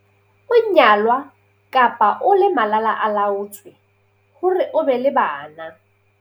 O nyalwa kapa o le malala-a-laotswe hore o be le bana.